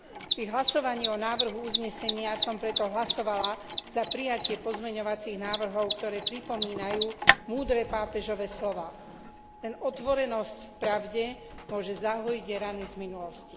Pri hlasovaní o návrhu uznesenia som preto hlasovala za prijatie pozmeňovacích návrhov, ktoré pripomínajú múdre pápežove slová Len otvorenosť pravde môže zahojiť rany z minulosti.